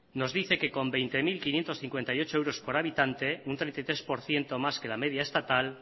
nos dice que con veinte mil quinientos cincuenta y ocho euros por habitante un treinta y tres por ciento más que la media estatal